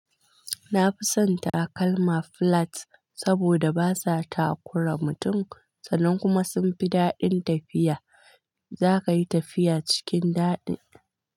Nafi son takalma flats saboda basa takura mutum, sannan kuma sun fi daɗin tafiya. Zaka yi tafiya cikin daɗi.